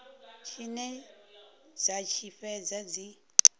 tshine dza tshi fhedza dzi